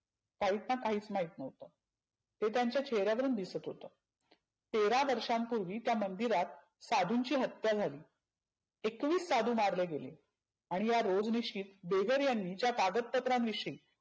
व्हाईटला काहिच महित नव्हतं. ते त्यांच्या चेहऱ्यावरुण दिसत होतं. तेरा वर्षांपुर्वी त्या मंदिरात साधुंची हत्या झाली. एकविस साधु मारले गेले. आणि या रोजनिशीत पेजर यांनी ज्या कागद पत्रांविषयी